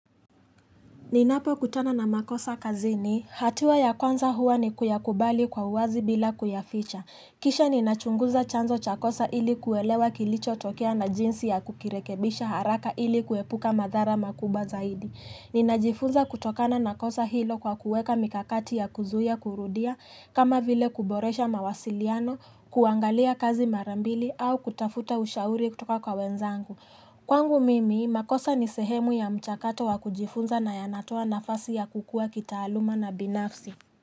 Ninapo kutana na makosa kazini, hatua ya kwanza huwa ni kuyakubali kwa uwazi bila kuyaficha. Kisha ninachunguza chanzo chakosa ili kuwelewa kilicho tokea na jinsi ya kukirekebisha haraka ili kuepuka madhara makubwa zaidi. Ninajifunza kutokana na kosa hilo kwa kuweka mikakati ya kuzuia kurudia, kama vile kuboresha mawasiliano, kuangalia kazi marambili au kutafuta ushauri kutoka kwa wenzangu. Kwangu mimi, makosa ni sehemu ya mchakato wa kujifunza na yanatoa nafasi ya kukua kitaaluma na binafsi.